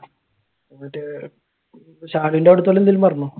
എന്നിട്ട് ശാലുന്റെ അവിടുത്തെന്റെ എന്തെങ്കിലും പറഞ്ഞോ?